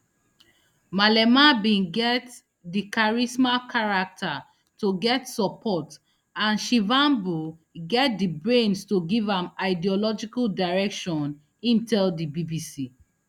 malema bin get di charisma character to get support and shivambu get di brains to give am ideological direction im tell di bbc